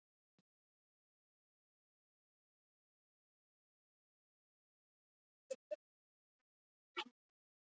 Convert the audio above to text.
Reyndar voru flestir strákanna skotnir í dísinni Siggu í